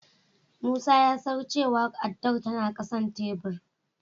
Musa ya san cewa addar tana ƙasan tebur.